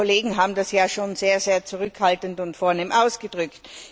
Die Kollegen haben das ja schon sehr zurückhaltend und vornehm ausgedrückt.